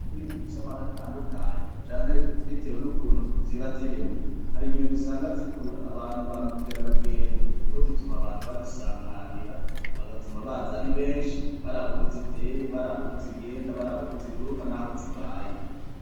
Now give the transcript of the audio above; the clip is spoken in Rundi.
Buye nimivyomaratandukanye canke, bitewe n'ukuntu ziba ziremwe hari inyoni rusanga zikurura abantu ba mukera rugendo, kuko zituma abantu bazisamarira bagatuma baza ari benshi bari abuko zi iteye bari abukozigenda bari abukoziguruka n'aho zibaye.